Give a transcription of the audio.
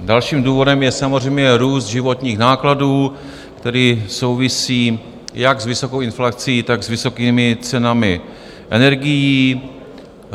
Dalším důvodem je samozřejmě růst životních nákladů, který souvisí jak s vysokou inflací, tak s vysokými cenami energií.